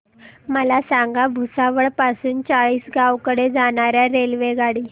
मला हे सांगा भुसावळ पासून चाळीसगाव कडे जाणार्या रेल्वेगाडी